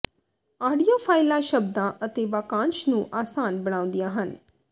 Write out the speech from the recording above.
audio ਫਾਈਲਾਂ ਸ਼ਬਦਾਂ ਅਤੇ ਵਾਕਾਂਸ਼ ਨੂੰ ਆਸਾਨ ਬਣਾਉਂਦੀਆਂ ਹਨ